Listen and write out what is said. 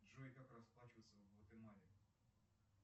джой как расплачиваться в гватемале